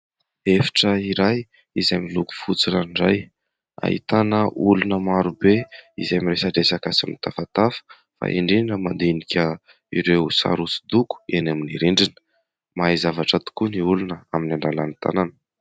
Efitra iray izay miloko fotsy ranoray, ahitana olona maro be izay miresadresaka sy mitafatafa fa indrindra mandinika ireo sary hoso-doko eny amin'ny rindrina. Mahay zavatra tokoa ny olona amin'ny alalan'ny tanana.